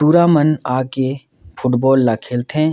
टुरा मन आके फुटबॉल ला खेलथे।